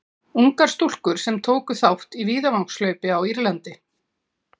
Ungar stúlkur sem tóku þátt í víðavangshlaupi á Írlandi.